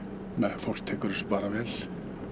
fólk tekur þessu bara vel